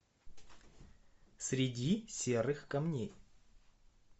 среди серых камней